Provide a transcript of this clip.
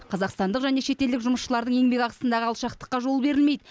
қазақстандық және шетелдік жұмысшылардың еңбекақысындағы алшақтыққа жол берілмейді